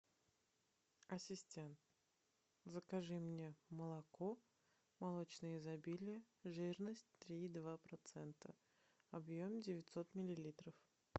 ассистент закажи мне молоко молочное изобилие жирность три и два процента объем девятьсот миллилитров